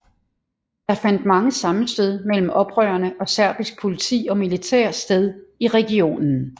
Der fandt mange sammenstød mellem oprørerne og serbisk politi og militær sted i regionen